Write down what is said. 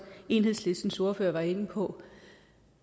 enhedslistens ordfører var inde på